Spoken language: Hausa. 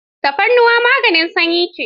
Tafarnuwa maganin sanyi ce.